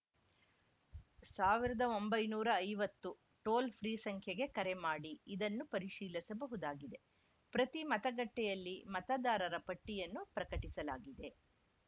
ಸಾವಿರದ ಒಂಬೈನೂರ ಐವತ್ತು ಟೋಲ್‌ ಫ್ರೀ ಸಂಖ್ಯೆಗೆ ಕರೆ ಮಾಡಿ ಇದನ್ನು ಪರಿಶೀಲಿಸಬಹುದಾಗಿದೆ ಪ್ರತಿ ಮತಗಟ್ಟೆಯಲ್ಲಿ ಮತದಾರರ ಪಟ್ಟಿಯನ್ನು ಪ್ರಕಟಿಸಲಾಗಿದೆ